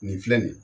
Nin filɛ nin ye